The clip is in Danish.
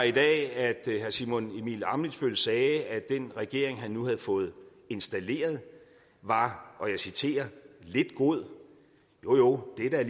i dag at herre simon emil ammitzbøll sagde at den regering han nu havde fået installeret var og jeg citerer lidt god jo jo det er da